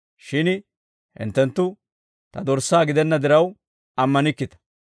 Shin hinttenttu Ta dorssaa gidenna diraw ammanikkita.